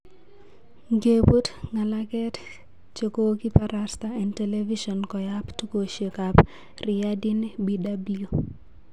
Ngepun ngalaket chekokiparasta en telivishon koyap tukoshek ap Riyadn BW